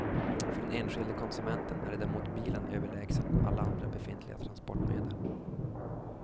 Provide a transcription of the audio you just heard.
För den enskilde konsumenten är däremot bilen överlägsen alla andra befintliga transportmedel.